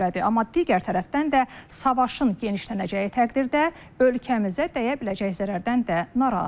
Amma digər tərəfdən də savaşın genişlənəcəyi təqdirdə ölkəmizə dəyə biləcək zərərdən də narahatıq.